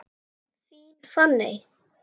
Þín Fanney.